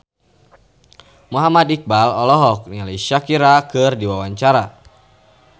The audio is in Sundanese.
Muhammad Iqbal olohok ningali Shakira keur diwawancara